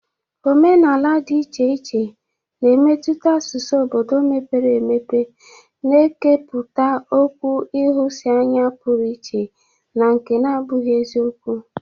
Omenala dị iche iche na-emetụta asụsụ obodo mepere emepe, na-ekepụta okwu nhụsianya pụrụ iche na nke na-abụghị eziokwu.